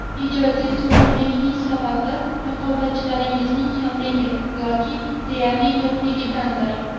Ijodiy turg‘unlikning sababi raqobatchilaringiz kamligi yoki deyarli yo‘qligidadir?